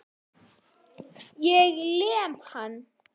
Ég lem hann.